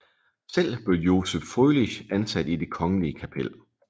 Selv blev Joseph Frølich ansat i Det Kongelige Kapel